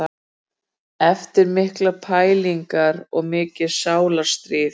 Eftir miklar pælingar, mikið sálarstríð.